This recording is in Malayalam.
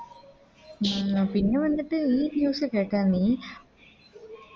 ഉം പിന്നെ വന്നിട്ട് ഈ News കേട്ട നീ